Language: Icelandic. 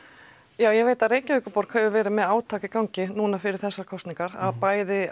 já ég veit að Reykjavíkurborg hefur verið með átak í gangi núna fyrir þessar kosningar að bæði